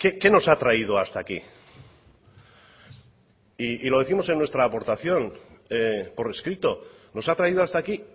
qué nos ha traído hasta aquí y lo décimos en nuestra aportación por escrito nos ha traído hasta aquí